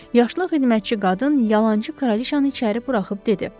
Yaşlı xidmətçi qadın yalançı kraliçanı içəri buraxıb dedi.